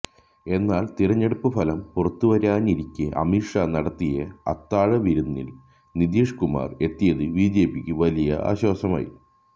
എന്നാല് തിരഞ്ഞെടുപ്പ് ഫലം പുറത്തുവരാനിരിക്കെ അമിത് ഷാ നടത്തിയ അത്താഴ വിരുന്നില് നിതീഷ് കുമാര് എത്തിയത് ബിജെപിക്ക് വലിയ ആശ്വാസമായി